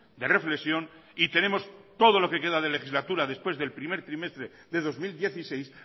de reflexión y tenemos todo lo que queda de legislatura después del primer trimestre de dos mil dieciséis